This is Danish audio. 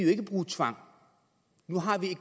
ikke bruge tvang nu har vi